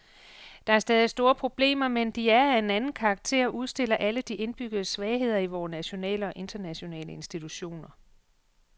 Der er stadig store problemer, men de er af en anden karakter og udstiller alle de indbyggede svagheder i vore nationale og internationale institutioner.